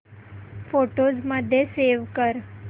photos मध्ये save कर